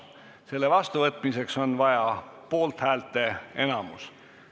Selle vastuvõtmiseks on vaja poolthäälte enamust.